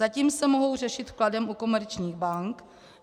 Zatím se mohou řešit vkladem u komerčních bank.